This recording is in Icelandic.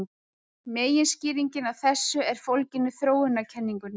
Meginskýringin á þessu er fólgin í þróunarkenningunni.